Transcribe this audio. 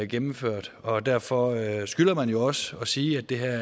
gennemført og derfor skylder man jo også at sige at det her